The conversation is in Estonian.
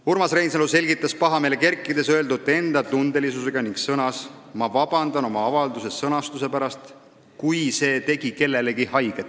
Urmas Reinsalu selgitas pahameele kerkides oma öeldut enda tundelisusega ning sõnas: "Ma vabandan oma avalduse sõnastuse pärast, kui see tegi kellelegi haiget.